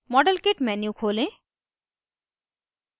modelkit menu खोलें